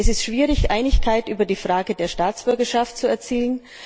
Es ist schwierig, Einigkeit über die Frage der Staatsbürgerschaft zu erzielen.